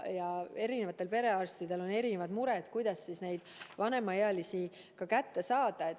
Ja eri perearstidel on erinevad mured, kuidas vanemaealisi kätte saada.